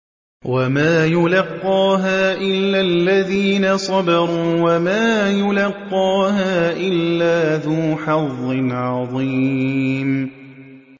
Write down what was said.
وَمَا يُلَقَّاهَا إِلَّا الَّذِينَ صَبَرُوا وَمَا يُلَقَّاهَا إِلَّا ذُو حَظٍّ عَظِيمٍ